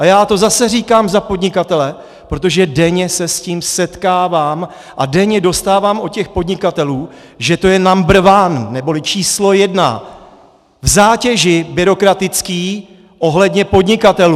A já to zase říkám za podnikatele, protože denně se s tím setkávám a denně dostávám od těch podnikatelů, že to je number one neboli číslo jedna v zátěži byrokratický ohledně podnikatelů!